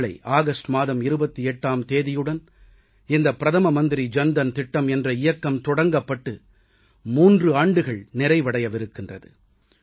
நாளை ஆகஸ்ட் மாதம் 28ஆம் தேதியுடன் இந்த பிரதம மந்திரி ஜன் தன் திட்டம் என்ற இயக்கம் தொடங்கப்பட்டு 3 ஆண்டுகள் நிறைவடையவிருக்கின்றது